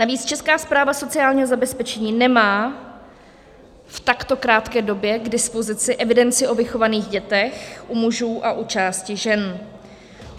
Navíc Česká správa sociálního zabezpečení nemá v takto krátké době k dispozici evidenci o vychovaných dětech u mužů a u části žen.